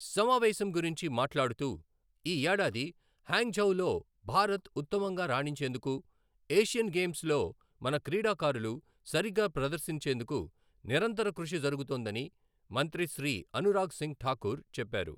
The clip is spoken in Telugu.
సమావేశం గురించి మాట్లాడుతూ, ఈ ఏడాది హ్యాంగ్‌ఝౌలో భారత్ ఉత్తమంగా రాణించేందుకు ఏషియన్ గేమ్స్లో మన క్రీడాకారులు సరిగ్గా ప్రదర్శించేందుకు నిరంతర కృషి జరుగుతోందని మంత్రి శ్రీ అనురాగ్ సింగ్ ఠాకూర్ చెప్పారు.